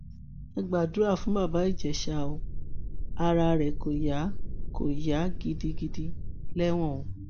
ẹ gbàdúrà fún baba ìjèṣà o ara rẹ kó yá kó yá gidigidi lẹwọn o